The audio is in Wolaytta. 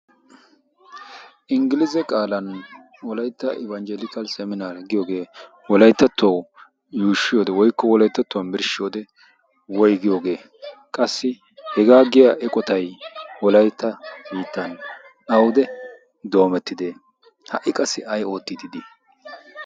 inggiliise qaalan wolaytta ibanjjeliikal seminaar giyoogee wolayttattuwawu yuushshi wode woykko wolaytattuwan birshshi wode woy giyoogee qassi hegaa giya eqotay wolaytta biittan awude doomettide ha''i qassi ay oottiidi dii